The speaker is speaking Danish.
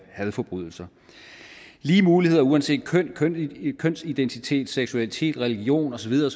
hadforbrydelser lige muligheder uanset køn kønsidentitet seksualitet religion og så videre